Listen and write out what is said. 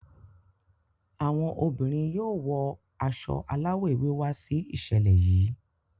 Àwọn obìnrin yóò wọ aṣọ alawọ ewé wà si iṣẹlẹ yìí.